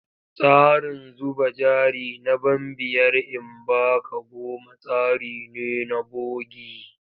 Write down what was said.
Tsarin zuba jari na ban biyar in ba ka goma tsari ne na bogi.